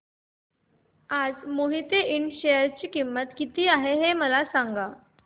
आज मोहिते इंड च्या शेअर ची किंमत किती आहे मला सांगा